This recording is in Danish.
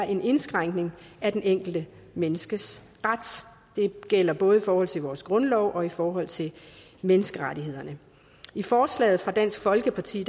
en indskrænkning af det enkelte menneskes ret det gælder både i forhold til vores grundlov og i forhold til menneskerettighederne i forslaget fra dansk folkeparti